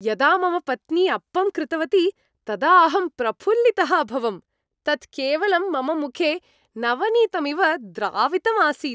यदा मम पत्नी अप्पं कृतवती तदा अहं प्रफुल्लितः अभवम् । तत् केवलं मम मुखे नवनीतमिव द्रावितम् आसीत्।